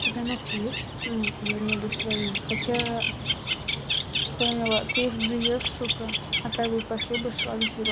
тебя ногти есть ну я имею ввиду свои хотя вспомнила ты их грызёшь сука а так бы пошли бы шеллак сделала